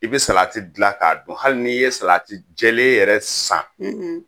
I bɛ salati dilan k'a dun hali ni ye salati jɛlen yɛrɛ san